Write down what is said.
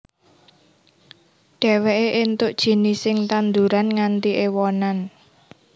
Dheweke entuk jinising tanduran nganti ewonan